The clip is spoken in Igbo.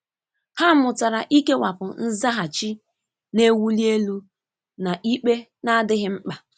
Ha mụtara ikewapụ nzaghachi na-ewuli elu na ikpe na-adịghị mkpa.